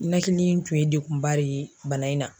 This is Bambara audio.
Nɛkili in tun ye dekunba de ye bana in na.